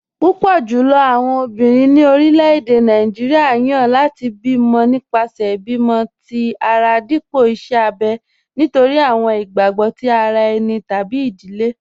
Púpọ̀ jùlọ̀ àwọn ọ̀bìnrin ni orílẹ̀-èdè Nàìjíríà yan láti bí mọ̀ nípasẹ̀ ìbímọ̀̀ tì ara dípọ̀ ìṣè àbẹ̀ nítorí àwọn ìgbàgbọ̀ tì ara ènì tàbí tí ìdílé.